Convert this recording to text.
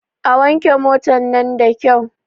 A wanke motan nan da kyau!